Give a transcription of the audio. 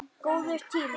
Góður tími.